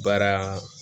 Baara